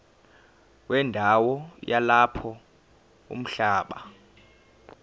wendawo yalapho umhlaba